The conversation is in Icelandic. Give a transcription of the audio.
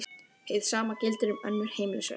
Hið sama gildir um önnur heimilisverk.